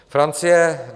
Francie.